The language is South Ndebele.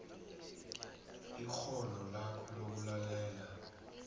ikghono lakho lokulalela